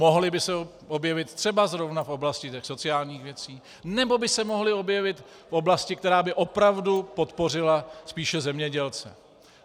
Mohly by se objevit třeba zrovna v oblasti těch sociálních věcí nebo by se mohly objevit v oblasti, která by opravdu podpořila spíše zemědělce.